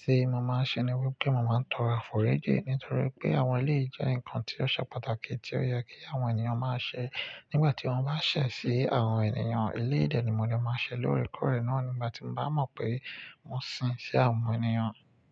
tí mo máa ń ṣe ni wípé mo máa ń tọrọ àfòriji. Nítorí pé àwọn eleyi jẹ́ nǹkan tí ó ṣe pàtàkì tí ó yẹ kí àwọn ènìyàn máa ṣe nígbà tí wọ́n bá ṣẹ̀ sí àwọn ènìyàn. Eléyìí dẹ̀ ni mo dẹ̀ máa ń ṣe lóòrèkórè náà nígbà tí mo bá mọ̀ pé n sìn sí àwọn ènìyàn.